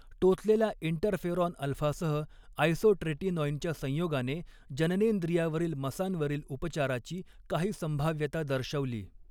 टोचलेल्या interferon अल्फासह आयसोट्रेटिनाॅइनच्या संयोगाने जननेंद्रियावरील मसांवरील उपचाराची काही संभाव्यता दर्शवली.